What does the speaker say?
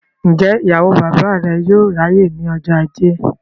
Ǹjẹ́ ìyàwó bàbá rẹ yóò ráyè ní ọjọ́ ajé?